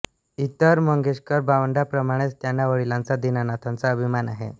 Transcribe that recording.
इतर मंगेशकर भावंडांप्रमाणेच त्यांना वडिलांचा दीनानाथांचा अभिमान आहे